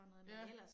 Ja